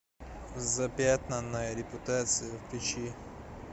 запятнанная репутация включи